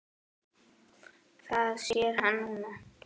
Það sér hann núna.